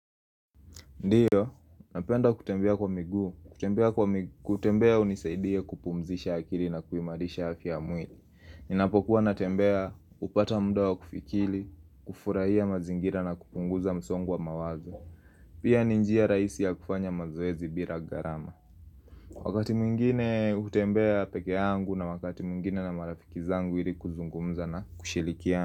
Ndiyo, napenda kutembea kwa miguu, kutembea hunisaidia kupumzisha akili na kuimarisha afya ya mwili. Ninapokuwa natembea hupata muda wa kufikiri, kufurahia mazingira na kupunguza msongo wa mawazo. Pia ni njia rahisi ya kufanya mazoezi bila gharama Wakati mwingine hutembea peke yangu na wakati mwingine na marafiki zangu ili kuzungumza na kushirikiana.